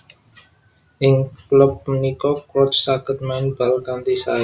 Ing klub punika Crouch saged main bal kanthi sae